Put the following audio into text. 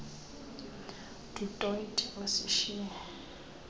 du toit osishiye